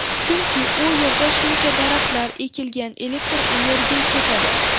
Chunki u yerda shuncha daraxtlar ekilgan, elektr energiya ketadi.